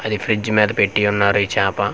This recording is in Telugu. అది ఫ్రిజ్ మీద పెట్టి యున్నారు ఈ చాప.